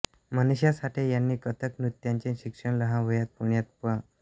मनीषा साठे यांनी कथक नृत्याचे शिक्षण लहान वयात पुण्यात पं